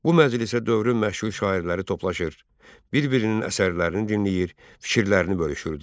Bu məclisə dövrün məşhur şairləri toplaşır, bir-birinin əsərlərini dinləyir, fikirlərini bölüşürdülər.